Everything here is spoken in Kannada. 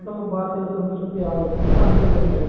ನಮ್ಮ ಭಾರತದ ಸಂಸ್ಕೃತಿ ಆಗುತ್ತೆ ಅಂತೀರ ನೀವು